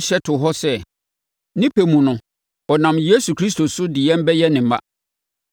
hyɛ too hɔ sɛ, ne pɛ mu no, ɔnam Yesu Kristo so de yɛn bɛyɛ ne mma,